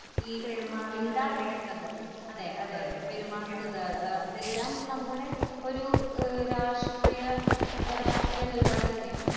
ഈ മിണ്ടാതിരിക്കുന്നത് അതെ അതെ അതെ പെരുമാറുന്നത് ഏ അതെല്ലാം നമ്മുടെ ഒരു ഏ രാഷ്ട്രീയ ഏ രാഷ്ട്രീയ നിലപാട് തന്നെയാണ്.